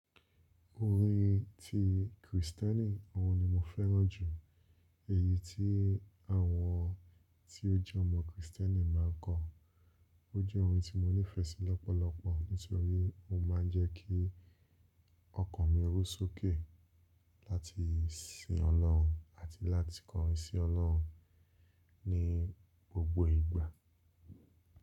Orin ti Kristẹni, ọ̀hun ni mo fẹ́ràn jù. Èyí tí àwọn tí ó jẹ́ ọmọ Kristẹni máa ń kọ. Ó jẹ́ ohun tí mo nífẹ̀ẹ́ sí lọ́pọ̀lọpọ̀ nítorí ó ma ń jẹ́ kí ọkàn mi ru sókè láti sin Ọlọ́run àti láti kọrin sin Ọlọ́run ní gbogbo ìgbà.